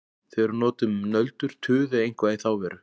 Þau eru notuð um nöldur, tuð eða eitthvað í þá veru.